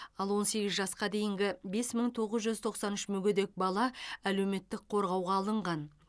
ал он сегіз жасқа дейінгі бес мың тоғыз жүз тоқсан үш мүгедек бала әлеуметтік қорғауға алынған